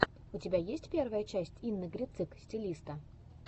у тебя есть первая часть инны грицык стилиста